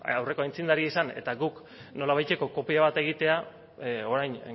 aurreko aitzindari izan eta guk nolabaiteko kopia bat egitea orain